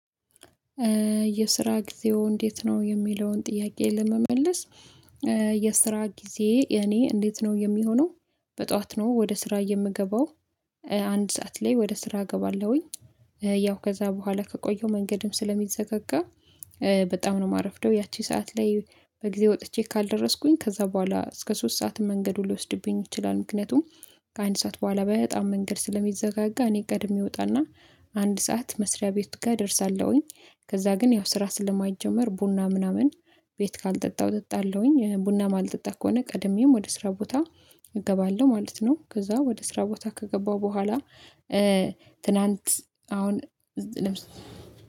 የስራ ጊዜው እንዴት ነው? የሚለውን ጥያቄ ለመመለስ የስራ ጊዜ የኔ እንዴት ነው የሚሆነው በጧት ነው ወደ ስራ የምገባው አንድ ሰዓት ላይ ወደ ስራ እገባለሁኝ ያው ከዛ በኋላ ከቆየው መንገድም ስለሚዘጋጋ በጣም ነው የማረፍደው ያቺ ሰዓት ላይ በጊዜ ወጥቼ ካልደረስኩኝ ከዛ በኋላ እስከ ሶስት ሰዓት መንገዱ ሊወስድብኝ ይችላል ምክንያቱም ከአንድ ሰዓት በኋላ በጣም መንገድ ስለሚዘጋጋ እኔ ቀድሜ እወጣና አንድ ሰዓት መስሪያ ቤት ጋር እደርሳለሁኝ ከዛ ግን ያው ስራ ስለማይጀመር ቡና ምናምን ቤት ካልጠጣሁ እጠጣለሁኝ ቡና ማልጠጣ ከሆነ ቀድሜም ወደ ስራ ቦታ እገባለሁ ማለት ነው። ከዛ ወደ ስራ ቦታ ከገባሁ በኋላ ትናንት አሁን እዚህ ለምሳሌ